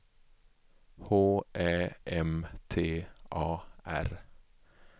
H Ä M T A R